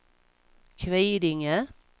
Kvidinge